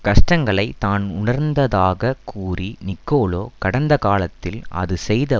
கஷ்டங்களை தான் உணர்ந்ததாகக் கூறிய நிக்கோலோ கடந்த காலத்தில் அது செய்த